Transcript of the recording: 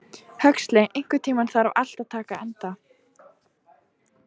Huxley, einhvern tímann þarf allt að taka enda.